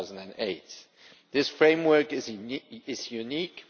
2008. This framework is unique.